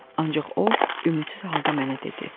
Ancaq o ümidsiz halda mənə dedi: